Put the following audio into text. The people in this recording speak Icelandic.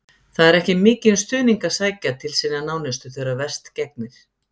Það er ekki mikinn stuðning að sækja til sinna nánustu þegar verst gegnir.